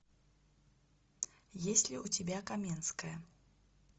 есть ли у тебя каменская